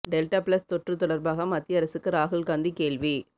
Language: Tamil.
டெல்டா பிளஸ் தொற்று தொடர்பாக மத்திய அரசுக்கு ராகுல் காந்தி கேள்வி